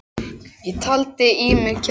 Ég taldi í mig kjark.